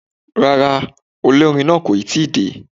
Rárá, olórin náà kò ì tí ì dé.